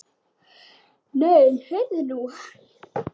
Nei, heyrðu nú!